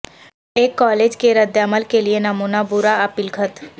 ایک کالج کے ردعمل کے لئے نمونہ برا اپیل خط